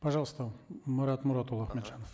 пожалуйста марат мұратұлы ахметжанов